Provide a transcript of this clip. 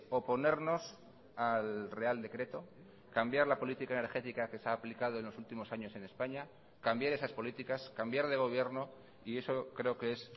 oponernos al real decreto cambiar la política energética que se ha aplicado en los últimos años en españa cambiar esas políticas cambiar de gobierno y eso creo que es